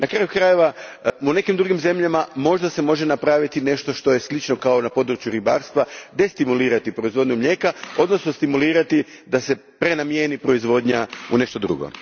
Na kraju krajeva, u nekim drugim zemljama možda se može napraviti nešto slično kao što je na području ribarstva, destimulirati proizvodnju mlijeka, odnosno stimulirati da se prenamjeni proizvodnja u nešto drugo.